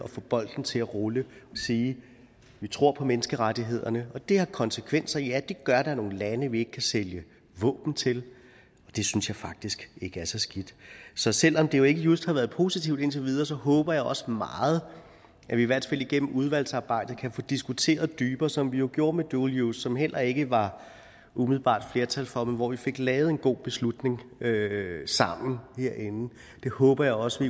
få bolden til at rulle at sige at vi tror på menneskerettighederne og det har konsekvenser ja det gør at der er nogle lande vi ikke kan sælge våben til det synes jeg faktisk ikke er så skidt så selv om det jo ikke just har været positivt indtil videre håber jeg også meget at vi i hvert fald igennem udvalgsarbejdet kan få diskuteret det dybere som vi jo gjorde med dual use som der heller ikke var umiddelbart flertal for men hvor vi fik lavet en god beslutning sammen herinde det håber jeg også